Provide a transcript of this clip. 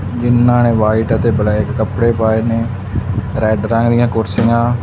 ਜਿਨ੍ਹਾਂ ਨੇ ਵਾਈਟ ਅਤੇ ਬਲੈਕ ਕੱਪੜੇ ਪਾਏ ਨੇ ਰੈਡ ਰੰਗ ਦੀਆਂ ਕੁਰਸੀਆਂ --